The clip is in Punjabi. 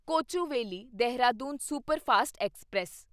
Kochuveli Dehradun superfast express